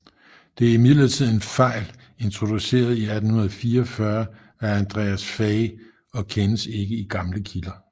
Det er imidlertid en fejl introduceret i 1844 af Andreas Faye og kendes ikke i gamle kilder